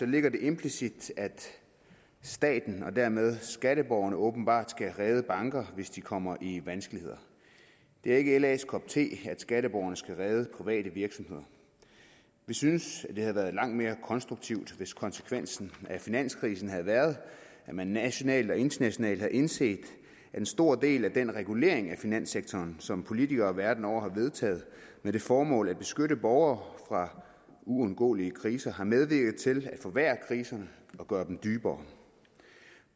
ligger det implicit at staten og dermed skatteborgerne åbenbart skal redde banker hvis de kommer i vanskeligheder det er ikke las kop te at skatteborgerne skal redde private virksomheder vi synes at det havde været langt mere konstruktivt hvis konsekvensen af finanskrisen havde været at man nationalt og internationalt havde indset at en stor del af den regulering af finanssektoren som politikere verden over har vedtaget med det formål at beskytte borgere fra uundgåelige kriser har medvirket til at forværre kriserne og gøre dem dybere